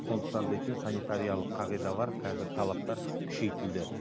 сондықтан дейтін санитариялық қағидалар қазір талаптар күшейтілді